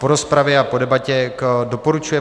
Po rozpravě a po debatě doporučuje